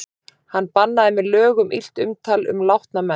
Hann bannaði með lögum illt umtal um látna menn.